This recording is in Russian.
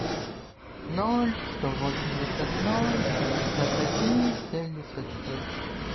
ноль сто восемьдесят ноль шестьдесят один семьдесят шесть